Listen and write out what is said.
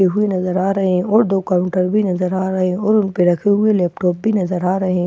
और दो काउंटर भी नजर आ रहे हो और उनपे रखे हुए लैपटॉप भी नजर आ रहे--